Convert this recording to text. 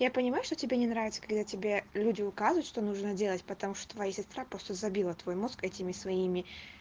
я понимаю что тебе не нравится когда тебе люди указывают что нужно делать потому что твоя сестра просто забила твой мозг этими своими